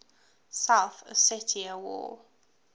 south ossetia war